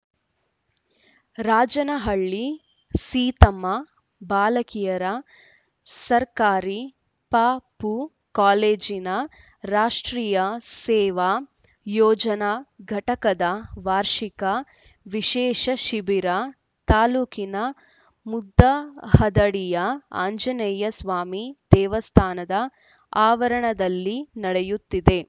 ರಾಜನಹಳ್ಳಿ ಸೀತಮ್ಮ ಬಾಲಕಿಯರ ಸರ್ಕಾರಿ ಪಪೂ ಕಾಲೇಜಿನ ರಾಷ್ಟ್ರೀಯ ಸೇವಾ ಯೋಜನಾ ಘಟಕದ ವಾರ್ಷಿಕ ವಿಶೇಷ ಶಿಬಿರ ತಾಲೂಕಿನ ಮುದಹದಡಿಯ ಆಂಜನೇಯ ಸ್ವಾಮಿ ದೇವಸ್ಥಾನದ ಆವರಣದಲ್ಲಿ ನಡೆಯುತ್ತಿದೆ